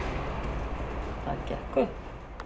Það gekk upp